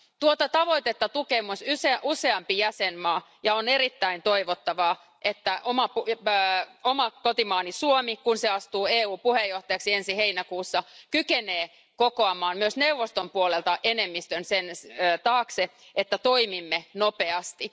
Tuota tavoitetta tukee myös useampi jäsenmaa, ja on erittäin toivottavaa, että oma kotimaani Suomi, kun se astuu EUn puheenjohtajaksi ensi heinäkuussa, kykenee kokoamaan myös neuvoston puolelta enemmistön sen taakse, että toimimme nopeasti.